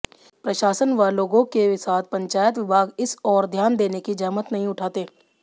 प्रशासन व लोगों के साथ पंचायत विभाग इस ओर ध्यान देने की जहमत नहीं उठाते